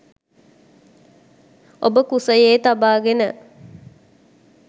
ඔබ කුසයේ තබාගෙන